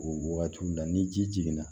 O wagatiw la ni ji jiginna